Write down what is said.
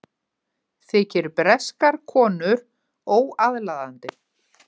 Þykir breskar konur óaðlaðandi